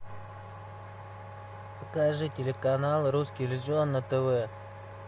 покажи телеканал русский иллюзион на тв